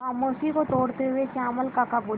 खामोशी को तोड़ते हुए श्यामल काका बोले